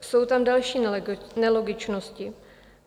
Jsou tam další nelogičnosti.